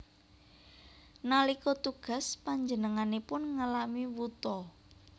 Nalika tugas panjenenganipun ngalami wuta